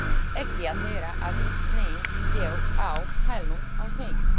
Ekki að heyra að neinn sé á hælunum á þeim.